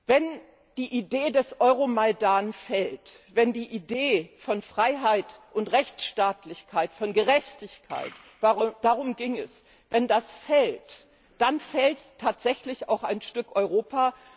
Wenn die Idee des Euromajdan fällt, wenn die Idee von Freiheit, von Rechtsstaatlichkeit und Gerechtigkeit darum ging es wenn das fällt, dann fällt tatsächlich auch ein Stück Europa.